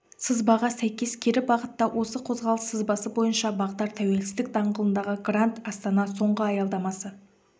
сызбаға сәйкес кері бағытта осы қозғалыс сызбасы бойынша бағдар тәуелсіздік даңғылындағы гранд астана соңғы аялдамасы